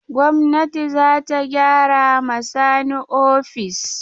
Gwamnati za ta gyara ma Sani ofis.